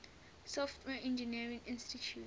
software engineering institute